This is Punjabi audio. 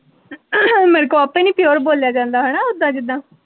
ਮੇਰੇ ਕੋਲ ਆਪੇ ਨੀ ਪਿਓਰ ਬੋਲਿਆ ਜਾਂਦਾ ਹੈਨਾ ਓਦਾਂ ਜਿੱਦਾਂ।